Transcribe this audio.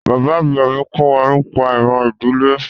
Bàbá àgbà mi kọ́ wa nípa ìran ìdílé wa